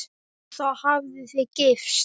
Og þá hafið þið gifst?